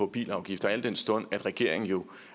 bilafgifter al den stund at regeringen jo